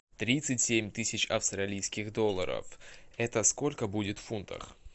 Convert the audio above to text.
тридцать семь тысяч австралийских долларов это сколько будет в фунтах